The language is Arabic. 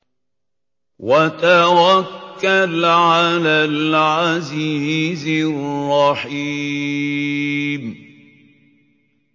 وَتَوَكَّلْ عَلَى الْعَزِيزِ الرَّحِيمِ